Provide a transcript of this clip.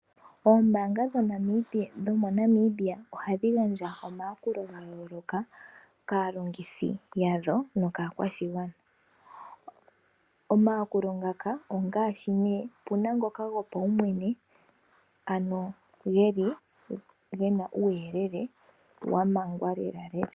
Oombaanga dhomoNamibia ohadhi gandja omayakulo ga yooloka kaalongithi yadho, nokaakwashigwana. Omayakulo ngaka ongaashi ne, opuna ngoka gopaumwene, ano geli gena uuyelele wamangwa lela lela.